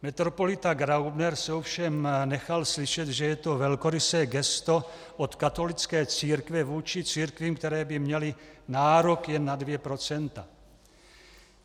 Metropolita Graubner se ovšem nechal slyšet, že je to velkorysé gesto od katolické církve vůči církvím, které by měly nárok jen na dvě procenta.